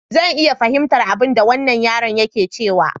Zan iya fahimtar abinda wannan yaron yake cewa.